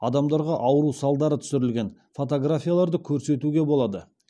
адамдарға ауру салдары түсірілген фотографияларды көрсетуге болады